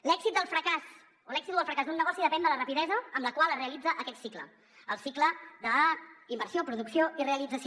l’èxit o el fracàs d’un negoci depèn de la rapidesa amb la qual es realitza aquest cicle el cicle d’inversió producció i realització